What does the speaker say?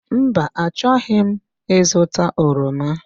Mba, achọghị m ịzụta oroma.